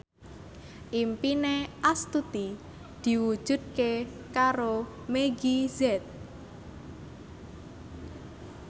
impine Astuti diwujudke karo Meggie Z